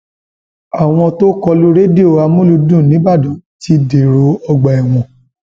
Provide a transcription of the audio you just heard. àwọn tó kọ lu rédíò àmúlùdún nìbàdàn ti dèrò ọgbà ẹwọn